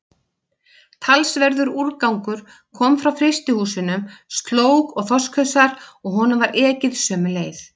Talsverður úrgangur kom frá frystihúsunum, slóg og þorskhausar, og honum var ekið sömu leið.